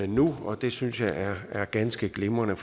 nu og det synes jeg er ganske glimrende